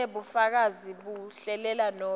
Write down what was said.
kunebufakazi bekuhlela nobe